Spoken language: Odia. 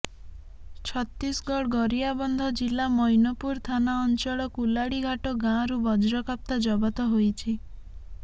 ଛତିଶଗଡ଼ ଗରିଆବନ୍ଧ ଜିଲ୍ଲା ମୈନପୁର ଥାନା ଅଞ୍ଚଳ କୁଲାଡିଘାଟ ଗାଁରୁ ବଜ୍ରକାପ୍ତା ଜବତ ହୋଇଛି